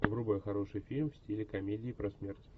врубай хороший фильм в стиле комедии про смерть